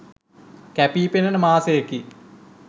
කැපී පෙනෙන මාසයකි